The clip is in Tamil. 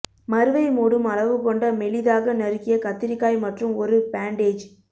மருவை மூடும் அளவு கொண்ட மெலிதாக நறுக்கிய கத்திரிக்காய் மற்றும் ஒரு பேன்டேஜ்